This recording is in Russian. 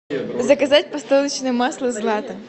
заказать подсолнечное масло злато